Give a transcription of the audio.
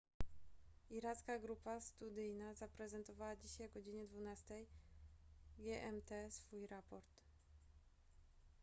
iracka grupa studyjna zaprezentowała dzisiaj o godz 12:00 gmt swój raport